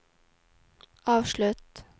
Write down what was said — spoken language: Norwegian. avslutt